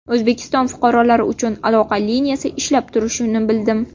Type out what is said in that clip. O‘zbekiston fuqarolari uchun aloqa liniyasi ishlab turishini bildim.